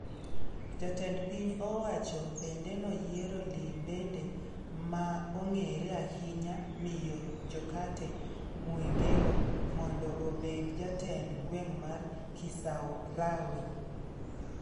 Jatend piny owacho bende noyiero limbende ma ong'ere ahinya Miyo Jokate Mwegelo mondo obed jatend gweng' mar Kisarawe.